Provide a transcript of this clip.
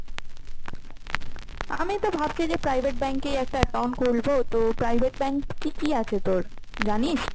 আমি তো ভাবছি যে private bank এ একটা account খুলবো তো private bank কি কি আছে তোর জানিস?